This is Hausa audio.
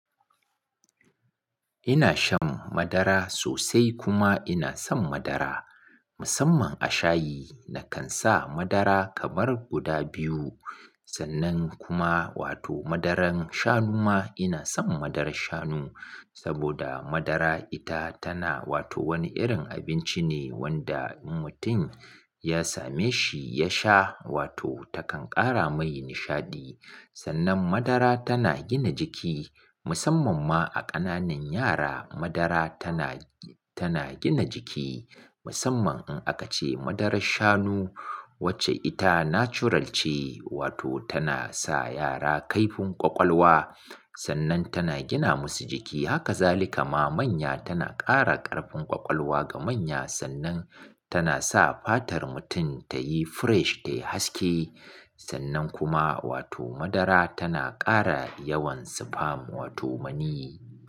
Ina shan madara sosai kuma ina son madara musamman a shayi. Nakan sa madara kamar guda biyu sannan kuma wato madaran shanu ma ina son madarar shanu saboda madara ita tana wato wani irin abinci ne wanda in mutum ya same shi ya sha wato takan ƙara mai nishaɗi. Sannan madara tana gina jiki musamman ma a ƙananan yara madara tana, tana gina jiki musamman in aka ce madarar shanu wacce ita natural ce wato tana sa yara kaifin ƙwaƙwalwa sannan tana gina masu jiki. Haka zalika ma manya tana ƙara ƙarfin ƙwaƙwalwa ga manya sannan tana sa fatar mutum tayi fresh, tayi haske sannan kuma wato madara tana ƙara yawan sperm wato maniyi.